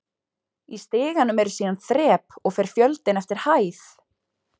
Í stiganum eru síðan þrep og fer fjöldinn eftir hæð.